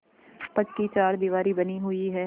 पक्की चारदीवारी बनी हुई है